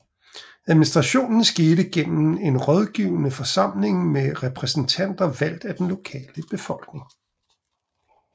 Administrationen skete gennem en rådgivende forsamling med repræsentanter valgt af den lokale befolkning